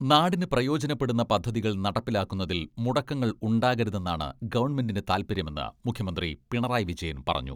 നാടിന് പ്രയോജനപ്പെടുന്ന പദ്ധതികൾ നടപ്പിലാക്കുന്നതിൽ മുടക്കങ്ങൾ ഉണ്ടാകരുതെന്നാണ് ഗവൺമെന്റിന്റെ താൽപര്യമെന്ന് മുഖ്യമന്ത്രി പിണറായി വിജയൻ പറഞ്ഞു.